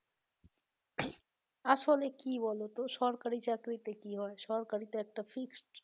আসলে কি বলো তো সরকারি চাকরি তে কি হয় সরকারি তে একটা fixed